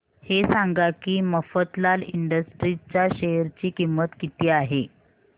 हे सांगा की मफतलाल इंडस्ट्रीज च्या शेअर ची किंमत किती आहे